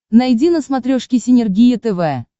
найди на смотрешке синергия тв